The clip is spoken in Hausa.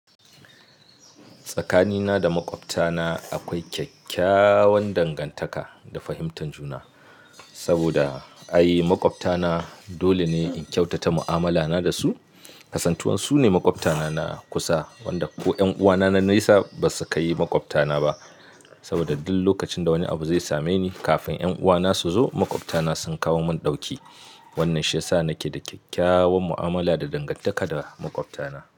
Tsakanina da makwabtana akwai kyakkyawan dangantaka da fahimtar juna. Saboda, ai makwabtana dole ne in kyautata mu'amala na da su. Kasantuwan su ne makwabtana na kusa wanda ko 'yan uwana na naisa ba su ka yi makwabtana ba. Saboda duk lokacin da wani abu zai same ni kafin 'yan uwana su zo makwabtana sun kawo mun ɗauki. Wannan shi ya sa nake da kyakkyawan mu'amala da dangantaka da makwabtana.